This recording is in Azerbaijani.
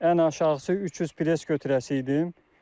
Ən aşağısı 300 bes götürəsi idim.